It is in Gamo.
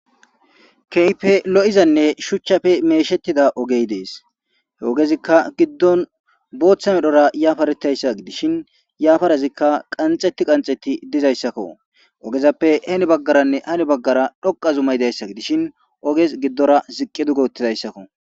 keype lo7izanne shuchchafe meeshettida ogey dees he ogezikka giddon booththa medhora yaafaretayssa gidishin yaafarazikka qanxetti qanxetti dizayssakko ogezappe heni baggaranne hani baggara dhoqa zumay dayssa gidishin oges giddora ziqqi duge uttidayssakko